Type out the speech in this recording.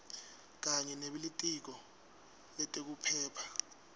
kanye nebelitiko letekuphepha